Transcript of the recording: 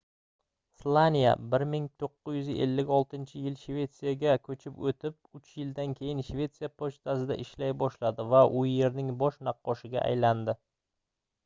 slaniya 1956-yil shvetsiyaga koʻchib oʻtib uch yildan keyin shvetsiya pochtasida ishlay boshladi va u yerning bosh naqqoshiga aylandi